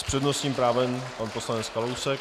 S přednostním právem pan poslanec Kalousek.